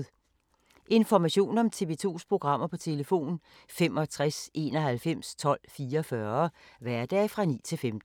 Information om TV 2's programmer: 65 91 12 44, hverdage 9-15.